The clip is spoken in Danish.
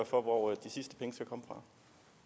for hvor